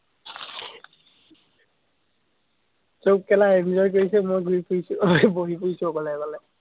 চব কেলাenjoy কৰিছে, মই ঘুৰি ফুৰিছো বহি ফুৰিছো অকলে অকলে।